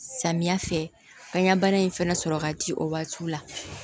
Samiya fɛ an ka baara in fɛnɛ sɔrɔ ka di o waatiw la